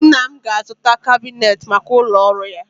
Nna m ga-azụta kabinetị maka ụlọ ọrụ ya